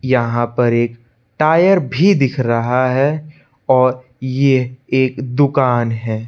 यहां पर एक टायर भी दिख रहा है और ये एक दुकान है।